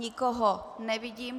Nikoho nevidím.